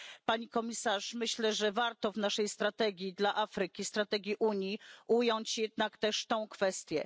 Pani Komisarz, myślę, że warto w naszej strategii dla Afryki, strategii Unii, ująć jednak też tę kwestię.